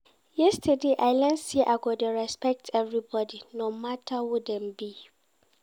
Yesterday, I learn sey I go dey respect everybodi no matter who dem be.